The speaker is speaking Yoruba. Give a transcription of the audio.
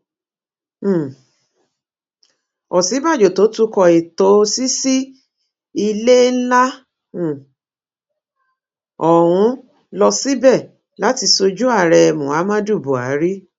um òsínbàjò tó tukọ ètò ṣíṣí ilé ńlá um ọhún lọ síbẹ láti sojú ààrẹ muhammadu buhari